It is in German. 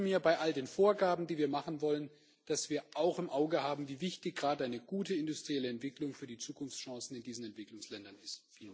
Und ich wünsche mir bei all den Vorgaben, die wir machen wollen, dass wir auch im Auge haben, wie wichtig gerade eine gute industrielle Entwicklung für die Zukunftschancen in diesen Entwicklungsländern ist.